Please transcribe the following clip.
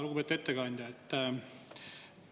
Lugupeetud ettekandja!